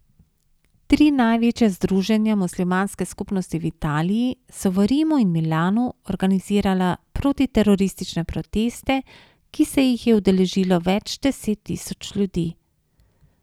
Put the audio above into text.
Tri največja združenja muslimanske skupnosti v Italiji so v Rimu in Milanu organizirala protiteroristične proteste, ki se jih je udeležilo več deset tisoč ljudi.